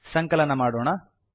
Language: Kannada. ಸಂಕಲನ ಮಾಡೋಣ